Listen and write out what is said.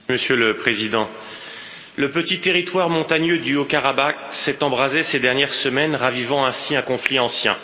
Monsieur le Président, le petit territoire montagneux du Haut Karabakh s'est embrasé ces dernières semaines, ravivant ainsi un conflit ancien.